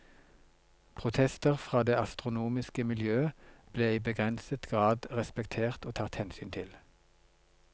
Protester fra det astronomiske miljøet ble i begrenset grad respektert og tatt hensyn til.